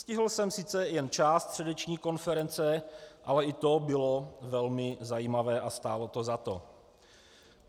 Stihl jsem sice jen část středeční konference, ale i to bylo velmi zajímavé a stálo to za to.